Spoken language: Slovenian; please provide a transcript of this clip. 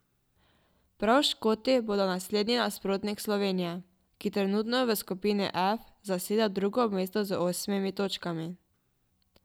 Prav Škoti bodo naslednji nasprotnik Slovenije, ki trenutno v skupini F zaseda drugo mesto z osmimi točkami.